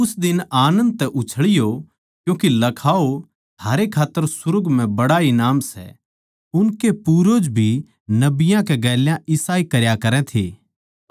उस दिन आनन्द तै उछळियो क्यूँके लखाओ थारे खात्तर सुर्ग म्ह बड्ड़ा ईनाम सै उनके पूर्वजां नै भी नबियाँ कै गेल्या भी इसाए करया करै थे